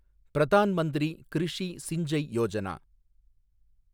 Pradhan Mantri Krishi Sinchai Yojana